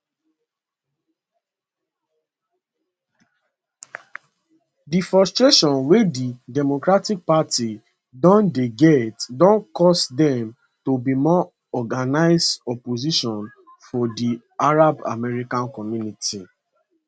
di frustration wey di democratic party don dey get don cause dem to be more organised opposition for di arab american community